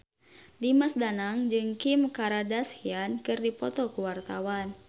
Dimas Danang jeung Kim Kardashian keur dipoto ku wartawan